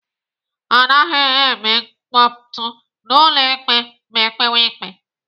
Anaghị eme mkpọtụ n'ụlọ ikpe ma ekpewe ikpe.